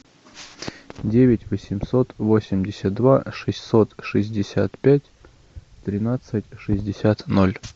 девять восемьсот восемьдесят два шестьсот шестьдесят пять тринадцать шестьдесят ноль